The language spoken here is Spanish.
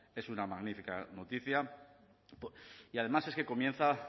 es una magnífica noticia y además es que comienza